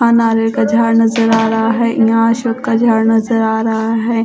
अनारे का झाड़ नजर आ रहा है यहां अशोक का झाड़ नजर आ रहा है।